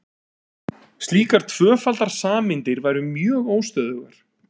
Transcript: Slíkar tvöfaldar sameindir væru mjög óstöðugar.